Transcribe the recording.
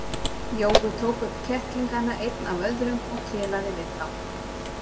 Jói tók upp kettlingana einn af öðrum og kelaði við þá.